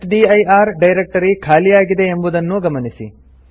testdir directory ಖಾಲಿಯಿದೆ ಎಂಬುದನ್ನೂ ಗಮನಿಸಿ